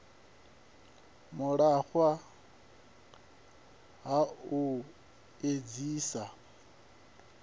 u lafha ha u edzisa